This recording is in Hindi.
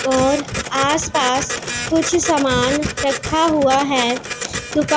और आस पास कुछ सामान रखा हुआ है दुकान--